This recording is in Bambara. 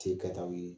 Te kɛtaw ye